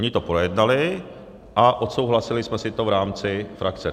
Oni to projednali a odsouhlasili jsme si to v rámci frakce.